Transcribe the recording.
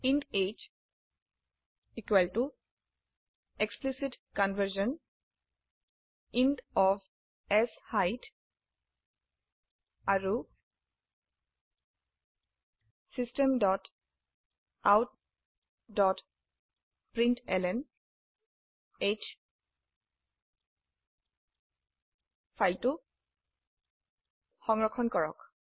int h equal to explicit conversion int of শেইট আৰু system dot out dot println h ফাইলটি সংৰক্ষণ কৰক